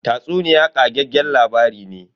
Tatsuniya ƙageggen labari ne.